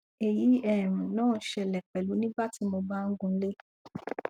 èyí um náà ṣẹlẹ pẹlú nígbà tí mo bá ń gunlé